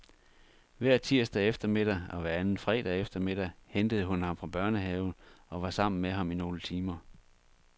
Hver tirsdag eftermiddag og hver anden fredag eftermiddag hentede hun ham fra børnehave og var sammen med ham i nogle timer.